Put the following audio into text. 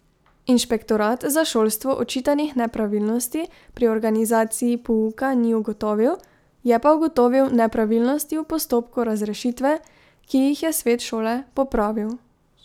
Inšpektorat za šolstvo očitanih nepravilnosti pri organizaciji pouka ni ugotovil, je pa ugotovil nepravilnosti v postopku razrešitve, ki jih je svet šole popravil.